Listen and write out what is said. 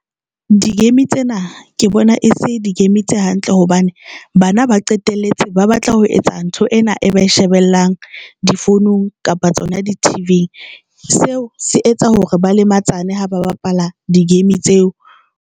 Di-game tsena ke bona e se di-game tse se hantle hobane bana ba qetelletse ba batla ho etsa ntho ena e ba shebellang difounung kapa tsona di-T_V-eng seo se etsa hore ba le matshana ha ba bapala di-game tseo.